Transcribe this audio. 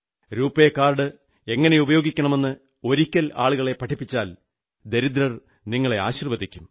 RuPay card എങ്ങനെ ഉപയോഗിക്കണമെന്ന് ഒരിക്കൽ ആളുകളെ പഠിപ്പിച്ചാൽ ദരിദ്രർ നിങ്ങളെ ആശീർവ്വദിക്കും